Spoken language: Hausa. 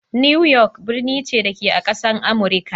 New York birni ce, da ke a ƙasar Amurika.